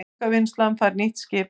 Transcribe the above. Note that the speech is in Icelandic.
Þörungavinnslan fær nýtt skip